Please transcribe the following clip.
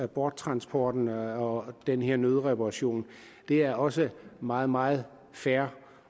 borttransporten og den her nødreparation det er også meget meget fair